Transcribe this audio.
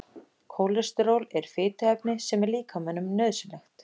Kólesteról er fituefni sem er líkamanum nauðsynlegt.